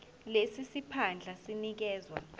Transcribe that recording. lesi siphandla sinikezwa